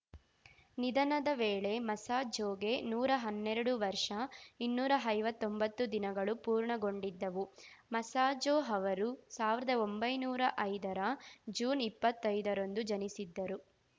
ನಿಧನದ ವೇಳೆ ಮಸಾಝೋಗೆ ನೂರಾ ಹನ್ನೆರಡು ವರ್ಷ ಇನ್ನೂರ ಐವತ್ತೊಂಬತ್ತು ದಿನಗಳು ಪೂರ್ಣಗೊಂಡಿದ್ದವು ಮಸಾಝೋ ಅವರು ಸಾವಿರ್ದಾ ಒಂಬೈನೂರಾ ಐದರ ಜೂನ್ಇಪ್ಪತ್ತೈದ ರಂದು ಜನಿಸಿದ್ದರು